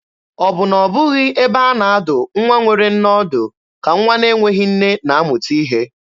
Ọ bụ na ọ bụghị ebe a na-adụ nwa nwere nne ọdụ ka nwa na-enweghị nne na-amụta ihe?